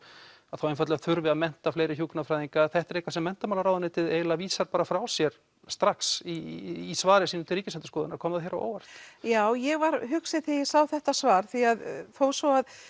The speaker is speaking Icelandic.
að þá einfaldlega þurfi að mennta fleiri hjúkrunarfræðinga þetta er eitthvað sem menntamálaráðuneytið eiginlega vísar bara frá sér strax í svari sínu til Ríkisendurskoðunar kom það þér á óvart já ég var hugsi þegar ég sá þetta svar því að þó svo að